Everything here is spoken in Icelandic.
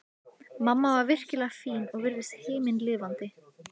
Mamma var virkilega fín og virtist himinlifandi.